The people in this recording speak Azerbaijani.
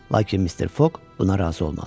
Lakin Mister Foq buna razı olmadı.